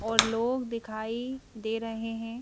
और लोग दिखाई दे रहे हैं।